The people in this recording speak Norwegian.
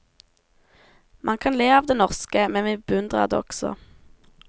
Man kan le av det norske, men vi beundrer det også.